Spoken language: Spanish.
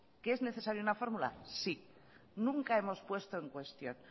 qué es necesario una fórmula sí nunca hemos puesto en cuestión